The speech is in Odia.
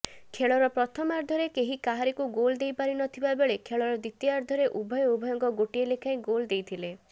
ଖେଳର ପ୍ରଥମାର୍ଦ୍ଧରେ କେହି କାହାରିକୁ ଗୋଲ ଦେଇପାରିନଥିବାବେଳେ ଖେଳର ଦ୍ୱିତୀୟାର୍ଦ୍ଧରେ ଉଭୟେ ଉଭୟଙ୍କୁ ଗୋଟିଏ ଲେଖାଏଁ ଗୋଲ ଦେଇଥିଲେ